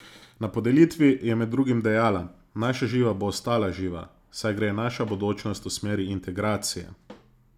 Na podelitvi je med drugim dejala: "Naša Živa bo ostala živa, saj gre naša bodočnost v smeri integracije.